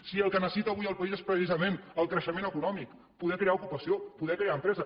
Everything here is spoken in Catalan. si el que necessita avui el país és precisament el creixement econòmic poder crear ocupació poder crear empresa